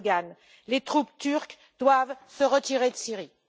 Erdogan, les troupes turques doivent se retirer de Syrie.